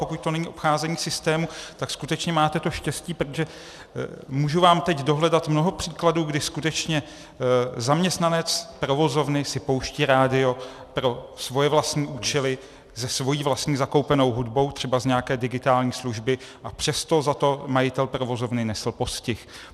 Pokud to není obcházení systému, tak skutečně máte to štěstí, protože můžu vám teď dohledat mnoho příkladů, kdy skutečně zaměstnanec provozovny si pouštěl rádio pro svoje vlastní účely se svou vlastní zakoupenou hudbou, třeba z nějaké digitální služby, a přesto za to majitel provozovny nesl postih.